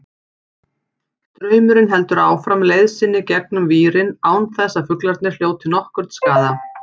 Straumurinn heldur áfram leið sinni gegnum vírinn án þess að fuglarnir hljóti nokkurn skaða.